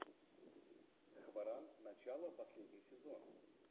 хваран начало последний сезон